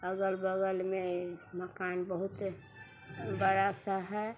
अगल बगल में मकान बहुते बड़ा सा है।